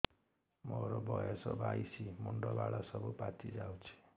ମୋର ବୟସ ବାଇଶି ମୁଣ୍ଡ ବାଳ ସବୁ ପାଛି ଯାଉଛି